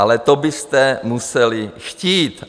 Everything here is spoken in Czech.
Ale to byste museli chtít.